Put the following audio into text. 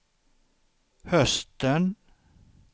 hösten